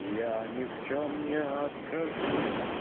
я ни в чём не откажу